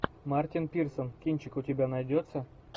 мартин пирсон кинчик у тебя найдется